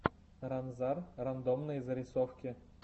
ранзар рандомные зарисовки